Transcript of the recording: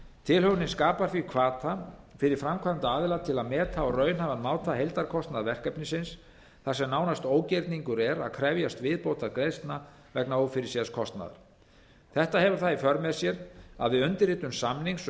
tilhögunin skapar því hvata fyrir framkvæmdaaðila til að meta á raunhæfan máta heildarkostnað verkefnisins þar sem nánast ógerningur er að krefjast viðbótargreiðslna vegna ófyrirséðs kostnaðar þetta hefur það í för með sér að við undirritun samnings um